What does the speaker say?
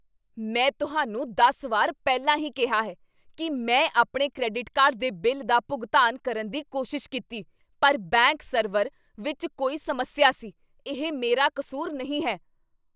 ਮੈਂ ਤੁਹਾਨੂੰ ਦਸ ਵਾਰ ਪਹਿਲਾਂ ਹੀ ਕਿਹਾ ਹੈ ਕੀ ਮੈਂ ਆਪਣੇ ਕ੍ਰੈਡਿਟ ਕਾਰਡ ਦੇ ਬਿੱਲ ਦਾ ਭੁਗਤਾਨ ਕਰਨ ਦੀ ਕੋਸ਼ਿਸ਼ ਕੀਤੀ ਪਰ ਬੈਂਕ ਸਰਵਰ ਵਿੱਚ ਕੋਈ ਸਮੱਸਿਆ ਸੀ। ਇਹ ਮੇਰਾ ਕਸੂਰ ਨਹੀਂ ਹੈ!